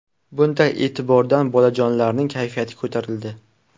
Bunday e’tibordan bolajonlarning kayfiyati ko‘tarildi.